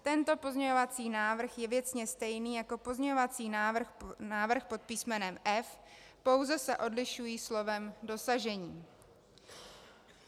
Tento pozměňovací návrh je věcně stejný jako pozměňovací návrh pod písmenem F, pouze se odlišují slovem "dosažení".